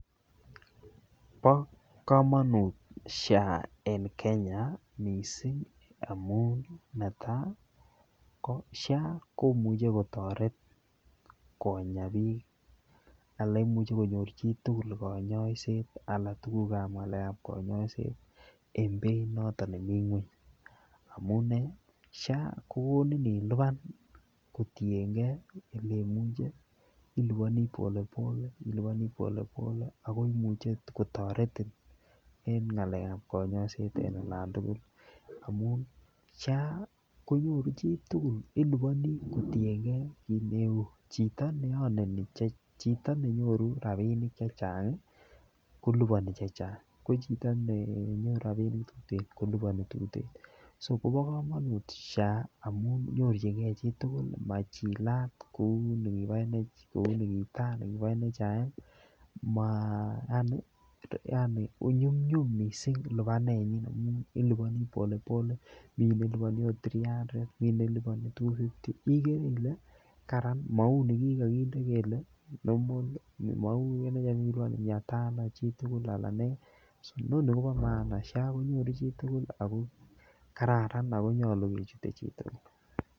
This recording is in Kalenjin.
Bo komonut SHA en Kenya missing amun netai ko SHA komuche kotoret Konya bik anan imuche konyor chitukul konyoiset alan tukukab ngalekab konyoiset en beit noton nemii ngweny amunee SHA kokonin ilipan Kotiyengee oleimuche iliponii pole pole iliponii polepole ako omuche kotoreti en ngalekab konyoiset en olen tukul amun SHA konyoru chitukul iliponi kotiyengee kit neu chito neoneni checha, chito menyoru rabinik chechang kolipani chechang ko chito nenyoru rabinik tuten koliponi tuten. So Kobo komonut SHA amun nyorchingee chitukul machilat kou nikobo NHIF machila kou nikobo NHIF maa yani nyumnyum missing lipanenyin amun iliponii polepole Mii neliponi ot [cd]three hundred Mii neliponi two fifty ikere ile Karan mou nikikokinde kele normal mou NHIF nekikiliponi mia Tano chitukul alan nee noni Kobo maana SHA konyoru chitukul ako kararan ako nyolu kechute chitukul .